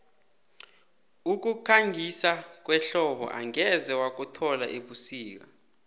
ukukhangisa kwehlobo angeze wakuthola ebusika